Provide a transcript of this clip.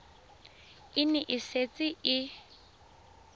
e ne e setse e